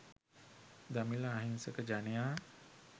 දමිල අහිංසක ජනයා